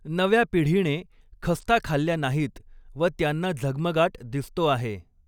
नव्या पिढीणे खस्ता खाल्ल्या नाहीत व त्यांना झगमगाट दिसतो आहे.